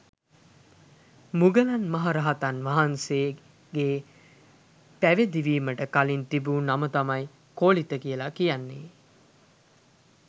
මුගලන් මහ රහතන් වහන්සේගේ පැවිදි වීමට කලින් තිබූ නම තමයි කෝලිත කියලා කියන්නේ.